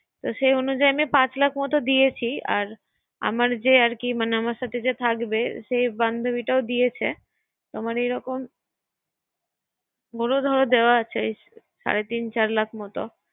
সেই অনুযায়ী পাচ লাক এর মত দিয়েছি। আর আমার যেই আরকি মানে আমার সাথে যে থাকবে সেই বান্ধুবিটাও দিয়েছে। মানে এরকম বর ধর দেওয়া আছে সারে তিন চার লাখের মত